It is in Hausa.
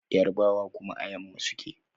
Yarbawa kuma a yamma suke